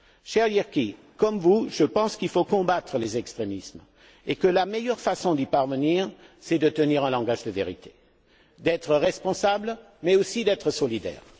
Cher Jyrki, comme vous, je pense qu'il faut combattre les extrémismes et que la meilleure façon d'y parvenir est de tenir un langage de vérité, d'être responsables mais, aussi, d'être solidaires.